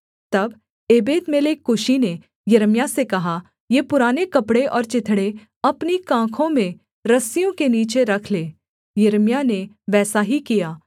तब एबेदमेलेक कूशी ने यिर्मयाह से कहा ये पुराने कपड़े और चिथड़े अपनी कांखों में रस्सियों के नीचे रख ले यिर्मयाह ने वैसा ही किया